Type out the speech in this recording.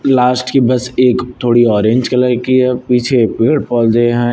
Last की बस एक थोड़ी ऑरेंज कलर की है और पीछे पेड़ पौधे हैं।